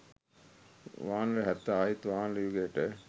වානර හැත්ත ආයිත් වානර යුගයට